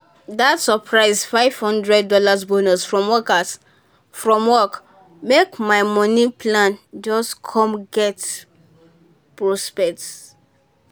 dat surprise five hundred dollars bonus from workers from work make my money plan just come get prospect.